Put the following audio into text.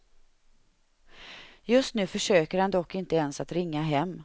Just nu försöker han dock inte ens att ringa hem.